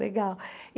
Legal.